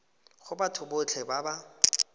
go batho botlhe ba ba